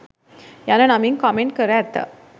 යන නමින් කොමෙන්ට් කර ඇත